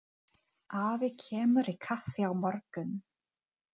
Afi kemur í kaffi á morgun.